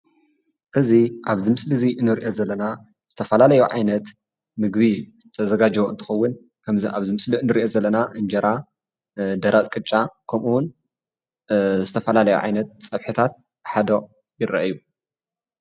እዚ ኣብዚ ምስሊ እንርእዮ ዘለና ዝተፈላለዩ ዓይነት ምግቢ ዝተዘጋጀወ ትኸውን ከምዚ ኣብዚ ምስሊ ንሪኢ ኣለና እንጀራ ደረቅ ቅጫ ከምኡውን ዝተፈላለዩ ዓይነት ጸብሕታት ሓደ ይረአዩ።